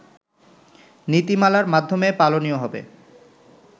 নীতিমালার মাধ্যমে পালনীয় হবে